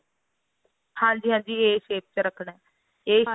ਹਾਂਜੀ ਹਾਂਜੀ a shape ਚ ਰੱਖਣਾ a shape